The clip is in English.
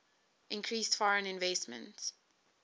increased foreign investment